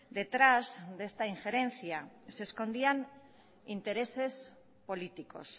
detrás de esta injerencia se escondían intereses políticos